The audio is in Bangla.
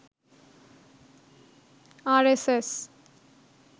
আরএসএস